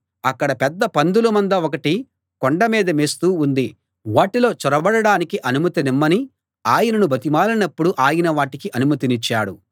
అక్కడ పెద్ద పందుల మంద ఒకటి కొండ మీద మేస్తూ ఉంది వాటిలో చొరబడడానికి అనుమతినిమ్మని ఆయనను బతిమాలినప్పుడు ఆయన వాటికి అనుమతినిచ్చాడు